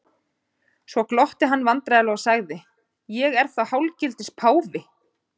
Svo glotti hann vandræðalega og sagði:-Ég er þá hálfgildings páfi?